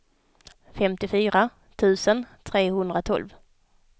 femtiofyra tusen trehundratolv